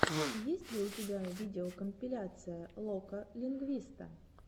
есть ли у тебя видеокомпиляция лока лингвиста